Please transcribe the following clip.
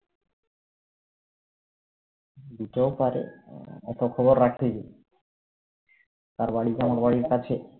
দিতেও পারে অত খবর রাখি তার বাড়ি কি আমার বাড়ির কাছে?